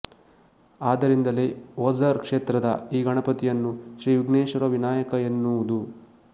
ಆದರಿಂದಲೇ ಒಜಾರ್ ಕ್ಷೇತ್ರದ ಈ ಗಣಪತಿಯನ್ನು ಶ್ರೀ ವಿಘ್ನೇಶ್ವರ ವಿನಾಯಕ ಎನ್ನುವುದು